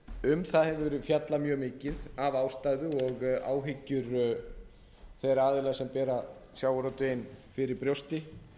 um það hefur verið fjallað mjög mikið af ástæðum og áhyggjum þeirra aðila sem bera sjávarútveginn fyrir brjósti